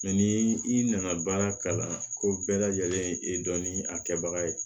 ni i nana baara kalan ko bɛɛ lajɛlen dɔnni a kɛbaga ye